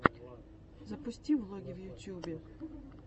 запусти влоги в ютубе